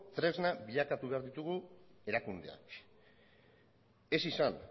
tresna bilakatu behar ditugu erakundeak ez izan